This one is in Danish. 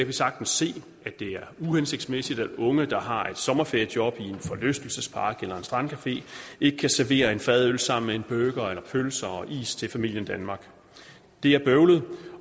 vi sagtens se at det er uhensigtsmæssigt at unge der har et sommerferiejob i en forlystelsespark eller en strandcafé ikke kan servere en fadøl sammen med en burger eller pølser og is til familien danmark det er bøvlet